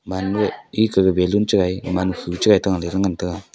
mane eka ga balloon chagai man hua chagai le ta ngan taga.